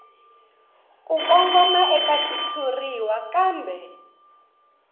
ku kongoma eka xitshuriwa kambe